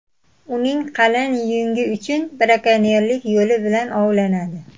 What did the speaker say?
Uning qalin yungi uchun brakonyerlik yo‘li bilan ovlanadi.